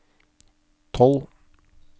tolv